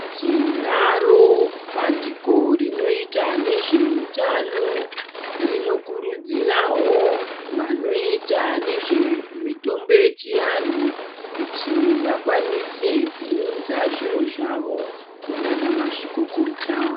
Tinaro bandiko rinoita nezveutano rinokurudzirawo vanoita nezvemitombo yechianhu kuti vakwanise kuunza zviro zvavo kunaana mazvikokota.